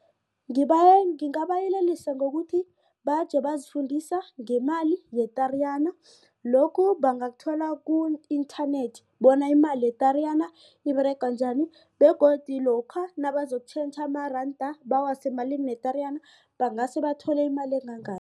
Ngabayelelisa ngokuthi baje bazifundisa ngemali ye-Tariyana lokhu bangakuthola ku-internet bona imali ye-Tariyana iberega njani begodu lokha nabazokutjhentjha amaranda bawase emalini ye-Tariyana bangase bathole imali engangani.